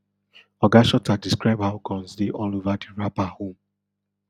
oga shuter describe how guns dey all ova di rapper home